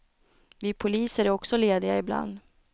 Vi poliser är också lediga ibland.